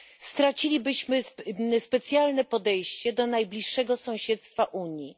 Stracilibyśmy specjalne podejście do najbliższego sąsiedztwa Unii.